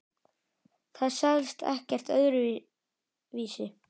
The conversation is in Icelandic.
Það selst ekkert öðru vísi.